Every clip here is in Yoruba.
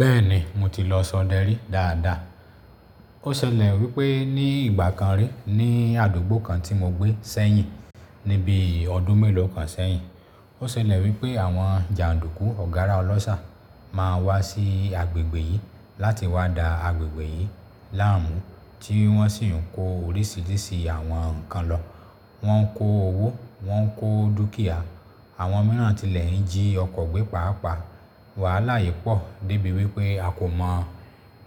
Bẹ́ẹ̀ni mo ti lọ sọdẹ rí dáadáa. Ó ṣẹlẹ̀ wípé ní ìgbà kan rí ní àdúgbò kan tí mo gbé sẹ́yìn níbi ọdún mélòó kan sẹ́yìn. Ó ṣẹlẹ̀ wípé àwọn jàǹdùkú ọ̀gárá ọlọ́ṣà máa wá sí agbègbè yìí láti wá da agbègbè yìí láàmú tí wọ́n sì ń kó oríṣiríṣi àwọn ǹkan lọ. Wọ́n ń kó owó, wọ́n ń kó dúkìá, àwọn mìíràn tilẹ̀ ń jí ọkọ̀ gbé pàápàá. Wàhálà yìí pọ̀ débi wípé a kò mọ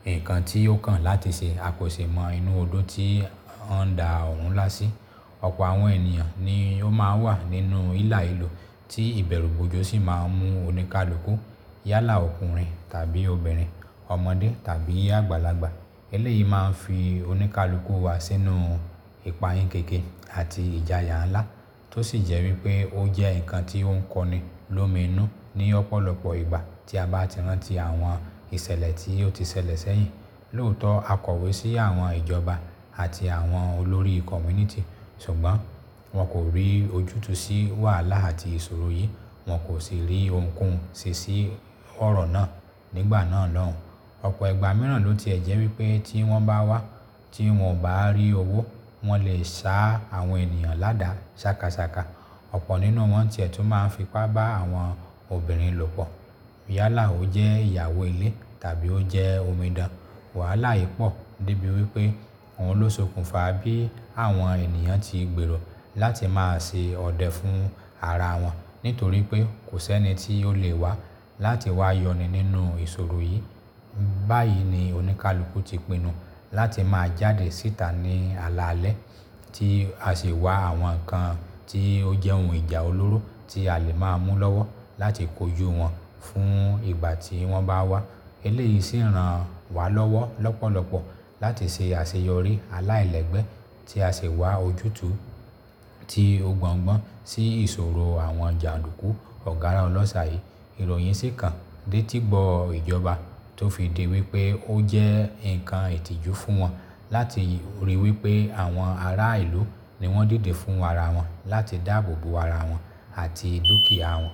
nǹkan tí ó kàn láti ṣẹ. A kò ṣe mọ inú ọdo tí wọ́n ń da oruńlá sí. Ọ̀pọ̀ àwọn ènìyàn ni ó máa ń wà nínú hílàhílo tí ìbẹ̀rù bojoo sì máa ń mú oníkálukú yálà ọkùnrin tàbí obìnrin, ọmọdé tàbí àgbàlagbà. Eléyìí máa ń fi oníkálukú wa sínú ìpayínkeke àti ìjayà ńlá tó sì jẹ́ wípé ó jẹ́ ǹkan tí ó ń kọni lómi inú ní ọ̀pọ̀lọpọ̀ ìgbà tí a bá ti rántí àwọn ìṣẹ̀lẹ̀ tí ó ti ṣẹlẹ̀ sẹ́yìn. Lóòótọ́ a kọ̀wé sí àwọn ìjọba àti àwọn olórí community ṣùgbọ́n wọn kò rí ojútùú sí wàhálà àti ìṣòro yìí. Wọn kò sì rí ohunkóhun ṣe sí ọ̀rọ̀ náà nígbà náà lóun. Ọ̀pọ̀ ìgbà mìíràn ló ti ẹ̀ jẹ́ wípé tí wọ́n bá wá tí wọn ò bá rí owó wọn lè sa àwọn ènìyàn láda ṣàkàṣàkà. Ọ̀pọ̀ nínú wọn tìẹ́ tún máa ń fipá bá àwọn obìnrin lọ̀pọ̀. Yálà ó jẹ́ ìyàwó ilé tàbí ó jẹ́ omidan. Wàhálà yìí pọ̀ débi wípé òun ló sokùn fa bí àwọn ènìyàn ti gbèrò láti máa ṣe ọdẹ fún ara wọn nítorí pé kò sí ẹni tí ó lè wá láti wá yọni nínú ìṣòro yìí. Báyìí ni oníkálukú ti pinnu láti máa jáde síta ní alaalẹ́ tí a sì wá àwọn ǹkan tí ó jẹ́ ohun ìjà olóró tí a lè máa mú lọ́wọ́ láti kojú wọn fún ìgbà tí wọ́n bá wá. Eléyìí sì ń ran wa lọ́wọ́ lọ́pọ̀lọpọ̀ láti ṣe àṣeyọrí aláìlẹ́gbẹ́ tí a sì wá ojútùú tí ó gbọ́ngbọ́n sí ìṣòro àwọn jàǹdùkú ọ̀gárá ọlọ́ṣà yìí. Irọ̀yìn sì kan dé etígbọ̀ ìjọba tó fi di wípé ó jẹ́ ǹkan ìtìjú fún wọn láti rí i wípé àwọn ará ìlú ni wọ́n dìde fún ara wọn láti dáàbò bo ara wọn àti dúkìá wọn.